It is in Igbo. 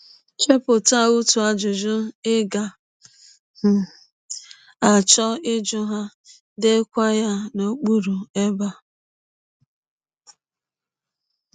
Chepụta otu ajụjụ ị ga um - achọ ịjụ ha, deekwa ya n’okpụrụ ebe a.